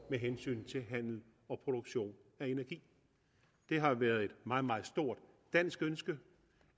med hensyn til handel og produktion af energi det har været et meget meget stort dansk ønske